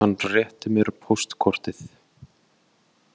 Hann rétti mér póstkortið.